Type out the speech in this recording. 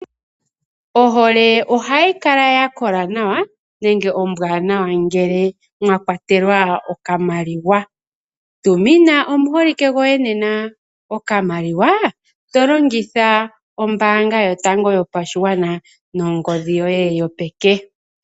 Ohole ohayi kala ya kola nawa nenge ombwaanawa ngele mwa kwatelwa okamaliwa. Tumina omuholike goye nena okamaliwa to longitha ombaanga Yotango Yopashigwana nongodhi yoye yopeke.